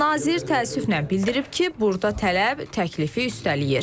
Nazir təəssüflə bildirib ki, burda tələb təklifi üstələyir.